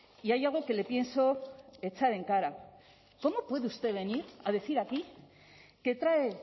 y hay algo que le pienso echar en cara cómo puede usted venir a decir aquí que trae